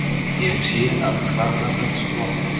Ég sé að hvarmar hans blotna.